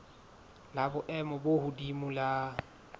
la boemo bo hodimo la